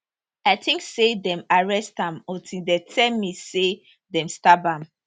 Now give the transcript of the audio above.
i tink say dem arrest am until dem tell me say dem stab am